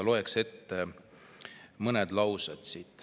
Loen siit ette mõned laused.